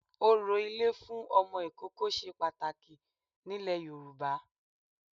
Orò ilé fún Ọmọ ìkókó se pàtàkì nílẹ̀ Yorùbá